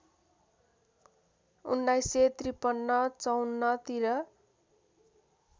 १९५३ ५४ तिर